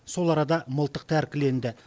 сол арада мылтық тәркіленді